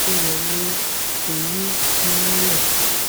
tó wọlé orí n-lè.